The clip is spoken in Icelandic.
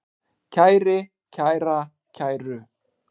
kæri, kæra, kæru